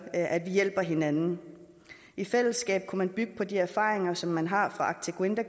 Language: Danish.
at vi hjælper hinanden i fællesskab kunne man bygge på de erfaringer som man har fra arctic winter